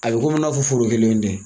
A bɛ komi n'a fɔ foro kelenw tɛ.